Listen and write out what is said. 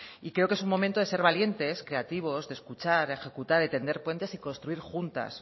y creo que es un momento de ser valientes creativos escuchar ejecutar tender puentes y construir juntas